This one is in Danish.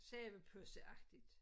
Soveposeagtigt